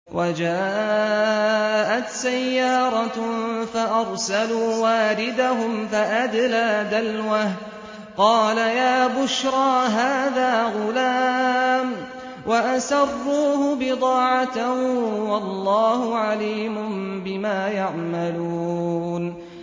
وَجَاءَتْ سَيَّارَةٌ فَأَرْسَلُوا وَارِدَهُمْ فَأَدْلَىٰ دَلْوَهُ ۖ قَالَ يَا بُشْرَىٰ هَٰذَا غُلَامٌ ۚ وَأَسَرُّوهُ بِضَاعَةً ۚ وَاللَّهُ عَلِيمٌ بِمَا يَعْمَلُونَ